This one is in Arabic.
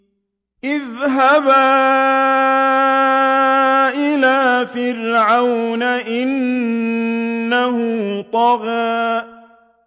اذْهَبَا إِلَىٰ فِرْعَوْنَ إِنَّهُ طَغَىٰ